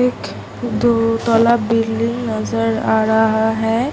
एक दो तल्ला बिल्डिंग नजर आ रहा है